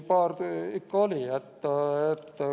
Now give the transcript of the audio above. Paar ikka oli.